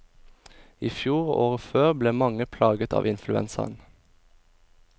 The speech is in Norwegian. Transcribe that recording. I fjor og året før ble mange plaget av influensaen.